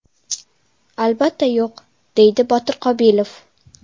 Albatta yo‘q”, – deydi Botir Qobilov.